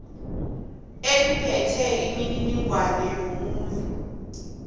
eliphethe imininingwana yomuntu